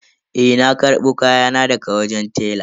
Eh na karbo kayana daga wajen tela.